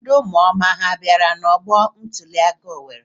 Ndị ụmụoma ha bịara n'ọgbọ ntụliaka Owerri?